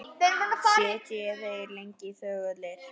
Sitja þeir lengi þögulir eftir.